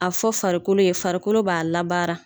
A fɔ farikolo ye farikolo b'a labara.